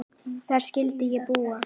Þar skyldi ég búa.